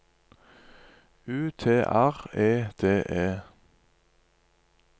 U T R E D E